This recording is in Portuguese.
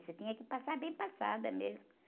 Você tinha que passar bem passada mesmo.